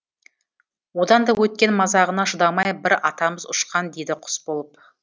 одан да өткен мазағына шыдамай бір атамыз ұшқан дейді құс болып